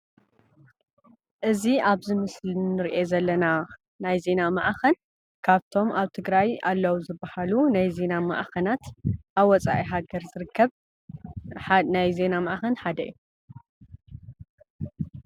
እዚ አብዚ ምስሊ ንሪኦ ዘለና ናይ ዜና ማዕኸን ካብቶም አብ ትግራይ አለው ዝበሃሉ ናይ ዜና ማዕኸናት አብ ወፃኢ ሃገር ዝርከብ ናይ ዜና ማዕኸን ሓደ እዩ።